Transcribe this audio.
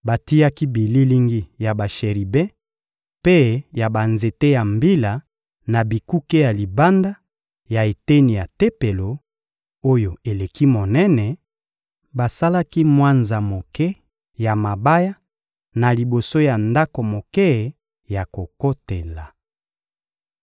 Batiaki bililingi ya basheribe mpe ya banzete ya mbila na bikuke ya libanda ya eteni ya Tempelo, oyo eleki monene; basalaki mwanza moke ya mabaya na liboso ya ndako moke ya kokotela.